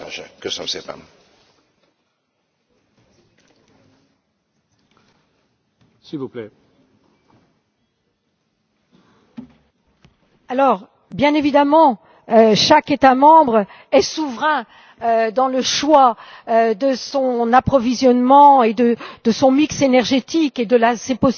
Bien évidemment, chaque État membre est souverain dans le choix de son approvisionnement, à savoir de son mix énergétique ainsi que de ses possibilités d'approvisionnement. Il est certain que de telles décisions ne vont pas dans le sens d'une harmonisation de ce que nous avons à décider dans le cadre de cette Union pour l'énergie.